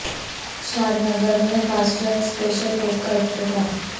شاد نگر میں fast track special court کا افتتاح